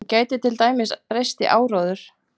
Hún gæti til dæmis breyst í áróður.